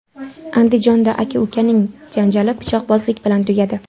Andijonda aka-ukaning janjali pichoqbozlik bilan tugadi.